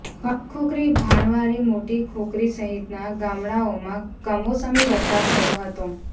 ભણખોખરી ભાણવારી મોટી ખોખરી સહિતના ગામડાઓમાં કમોસમી વરસાદ થયો હતો